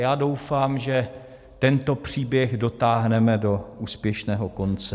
Já doufám, že tento příběh dotáhneme do úspěšného konce.